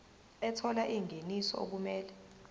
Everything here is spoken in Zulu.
ethola ingeniso okumele